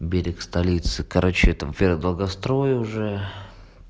берег столицы короче там вера долгострой уже